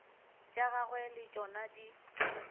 tša gagwe le tšona di